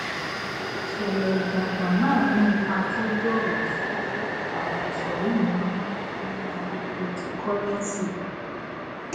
ìṣẹlẹ ìjàngbòn náà ní ipa tó gbòòrò sí orí àwọn ìsòrí mìíràn nínú àyè cryptocurrency